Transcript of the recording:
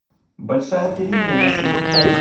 большая перемена сезон пять